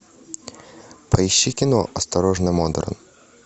поищи кино осторожно модерн